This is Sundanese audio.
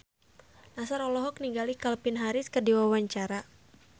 Nassar olohok ningali Calvin Harris keur diwawancara